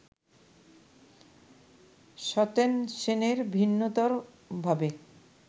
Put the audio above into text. সত্যেন সেনের ভিন্নতরভাবে